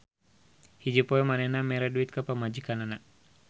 Hiji poe manehna mere duit ka pamajikanana.